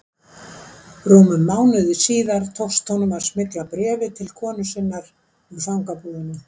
Rúmum mánuði síðar tókst honum að smygla bréfi til konu sinnar úr fangabúðunum.